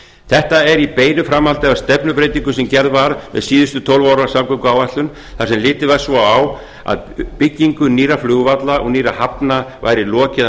þetta er í beinu framhaldi af stefnubreytingu sem gerð var með síðustu tólf ára samgönguáætlun þar sem litið var svo á að byggingu nýrra flugvalla og nýrra hafna væri lokið að